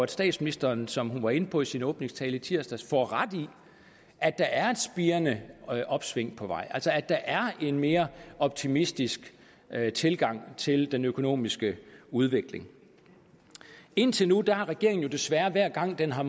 statsministeren som hun også var inde på i sin åbningstale i tirsdags får ret i at der er et spirende opsving på vej altså at der er en mere optimistisk tilgang til hele den økonomiske udvikling indtil nu har regeringen jo desværre hver gang den har